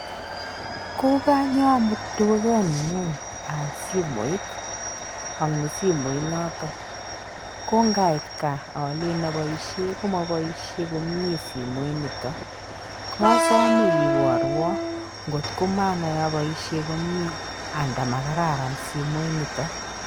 Koganyo amut dukani'ngung aal simoit, ang ni simoit noto, kongait gaa alen apoishe komapoishe komye simoinito, kosome iborwo ngot ko manai aboishe komie anda makararan simoit nito.